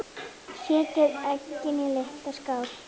Setjið eggin í litla skál.